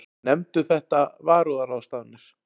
Nefndust þetta varúðarráðstafanir.